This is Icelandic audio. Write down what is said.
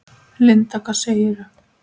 Linda: Hvað segirðu?